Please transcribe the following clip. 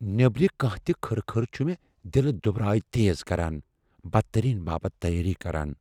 نیبٕرِ كانٛہہ تہِ كھٕر كھٕر چُھ مےٚ دِلہٕ دُبرایہ تیز كران ، بدترین باپت تیٲری كران ۔